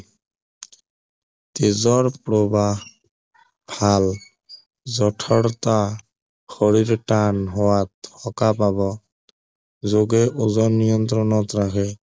তেজৰ প্ৰৱাহ হাড় যঠৰতা শৰীৰটো টান হোৱাত সকাহ পাব যোগে ওজন নিয়ন্ত্ৰণত ৰাখে